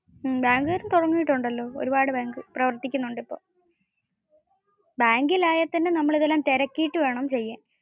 ബാങ്കുകാരും തുടങ്ങിയിട്ടുണ്ടാലോ. ഒരുപാട് ബാങ്ക് പ്രവർത്തിക്കുന്നുണ്ട് ഇപ്പോ. ബാങ്കിലായാൽ തന്നെ നമ്മൾ ഇതെല്ലം തിരക്കിയിട്ട് വേണം ചെയ്യാൻ.